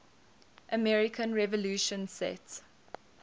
american revolution set